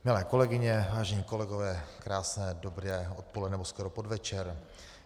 Milé kolegyně, vážení kolegové, krásné dobré odpoledne, nebo skoro podvečer.